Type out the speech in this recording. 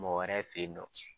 Mɔgɔ wɛrɛ fe yen nɔ.